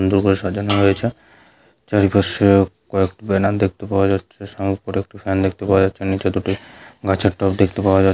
সাজানো রয়েছে চারিপাশে কয়েকটি ব্যানার দেখতে পাওয়া যাচ্ছে উপরে একটি ফ্যান দেখতে পাওয়া যাচ্ছে নিচে দুটি গাছের টব দেখতে পাওয়া যা--